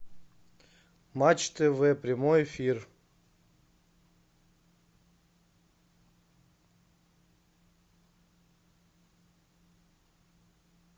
матч тв прямой эфир